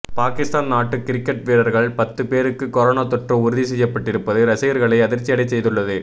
பாகிஸ்தான் நாட்டு கிரிக்கெட் வீரர்கள் பத்து பேருக்கு கொரோனா தொற்று உறுதி செய்யப்பட்டிருப்பது ரசிகர்களை அதிர்ச்சியடைய செய்துள்ளது